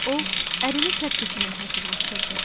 O, ərini tərk etməyə hazırlaşırdı.